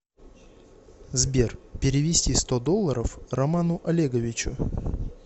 сбер перевести сто долларов роману олеговичу